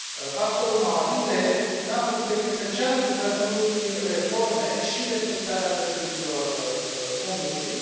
Pastorul Mawarire nu a făcut decât să ceară guvernului reforme și respectarea drepturilor omului.